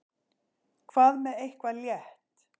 Hvað með eitthvað létt?